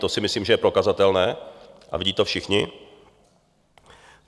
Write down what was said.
To si myslím, že je prokazatelné, a vidí to všichni.